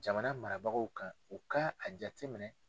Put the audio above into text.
Jamana marabagaw kan u ka a jateminɛ.